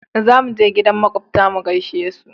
za muje gidan makwabta mu gaishe su